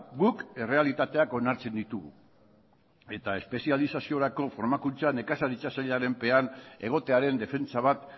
guk errealitateak onartzen ditugu eta espezializaziorako formakutza nekazaritza sailaren pean egotearen defentsa bat